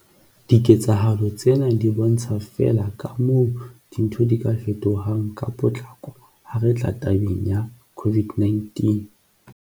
Diketsahalo tsena di bontsha feela kamoo dintho di ka fetohang ka potlako ha re tla tabeng ya COVID-19.